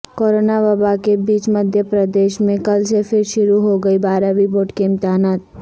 corona وبا کے بیچ مدھیہ پردیش میں کل سے پھرشروع ہوگیں بارہویں بورڈ کے امتحانات